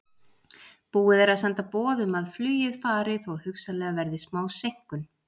Búið er að senda boð um að flugið fari þó hugsanlega verði smá seinkun.